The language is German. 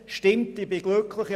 Stimmt, ich bin glücklich.